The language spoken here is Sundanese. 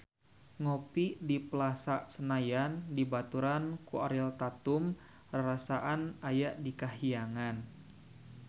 Ngopi di Plaza Senayan dibaturan ku Ariel Tatum rarasaan aya di kahyangan